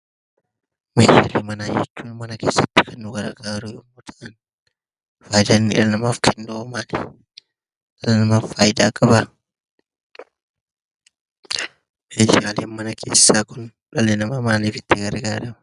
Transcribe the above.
Meeshaalee manaa jechuun mana keessatti kan nu gargaaru yommuu ta'an, faayidaa inni dhala namaaf kennuhoo maali? Dhala namaaf faayidaa qabaa? Meeshaaleen mana keessaa kun dhalli namaa maaliif itti fayyadama?